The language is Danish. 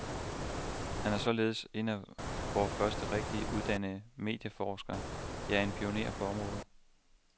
Han er således en af vore første rigtigt uddannede medieforskere, ja en pioner på området.